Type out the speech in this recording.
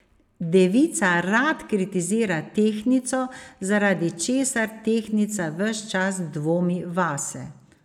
Devica rad kritizira tehtnico, zaradi česar tehtnica ves čas dvomi vase.